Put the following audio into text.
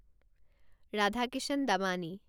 Radhakishan Damani